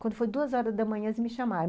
Quando foi duas horas da manhã, eles me chamaram.